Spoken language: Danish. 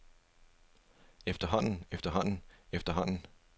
efterhånden efterhånden efterhånden